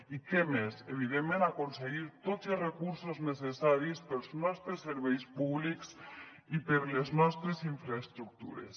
i que més evidentment aconseguir tots els recursos necessaris per als nostres serveis públics i per a les nostres infraestructures